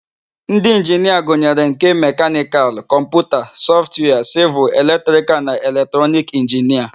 Ndị Inginia gụnyere nke: mekanikal, kọmputa, sọftwia, sịvịl, eletrikal na eletrọnic inginia.